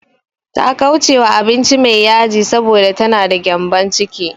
Ta ƙauracewa abinci mai yaji, saboda ta na da gyambon ciki.